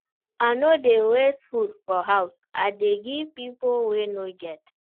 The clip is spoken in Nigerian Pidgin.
I no dey waste food for house, I dey give pipo wey no get.